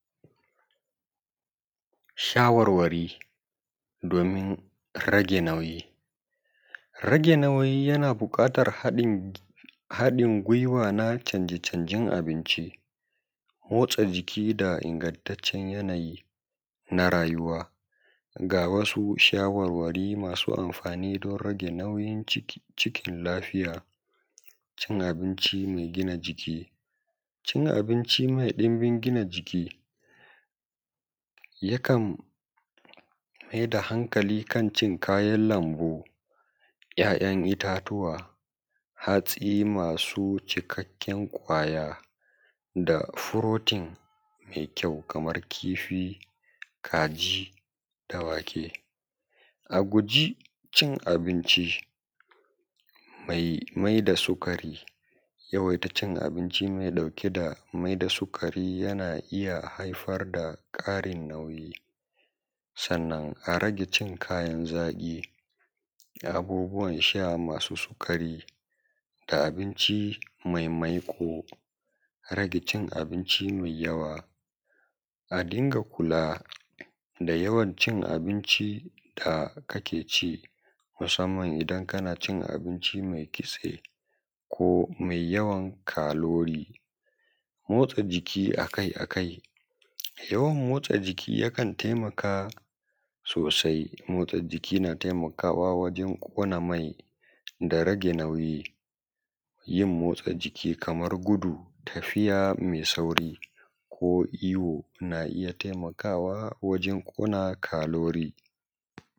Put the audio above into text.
Shawarwari domin rage nauyi rage nauyi yana buƙatar haɗin gwiwa na canje-canjen abinci motsa jiki da ingantaccen yanayi na rayuwa ga wasu shawarwari masu amfani don rage nauyi cikin lafiya cin abinci mai gina jiki cin abinci mai ɗunbin gina jiki ya kan maida hankali kan cin kayan lambu ‘ya’yan itatuwa hatsi masu cikakken kwaya da protein mai kyau kamar kifi kaji da wake a guji cin abinci mai mai da sukari yawaita cin abinci mai mai da sukari yana haifar da ƙarin nauyi sannan a rage cin kayan zaƙi da abubuwan sha masu sukari da abinci maimaiƙo rage cin abinci mai yawa a dinga kula da yawancin abinci da kake ci musamman idan kana cin abinci mai kitse ko mai yawan calorie motsa jiki a kai-a-kai yawan motsa jiki yakan taimaka sosai motsa jiki na taimakawa wajen ƙona mai da rage nauyi yin motsa jiki kamar guɗu tafiya mai sauri ko iyo na iya taimakawa wajen ƙona calorie